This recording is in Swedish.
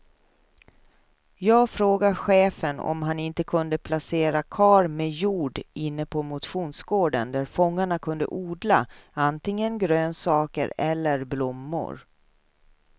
Jag frågade chefen om han inte kunde placera kar med jord inne på motionsgården, där fångarna kunde odla antingen grönsaker eller blommor.